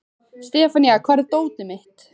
Sefanía, hvar er dótið mitt?